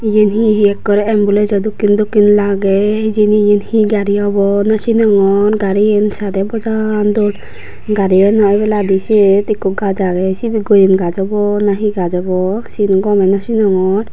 iyan he ekke ambulance o dokkin dokkin lage hijeni iyan he gari obo NW sinongor garigan sade bojal dol garigano oboladi sot ekku gaj age sibi goyem gaj obo na he gaj obo sin o gome nw cinogor.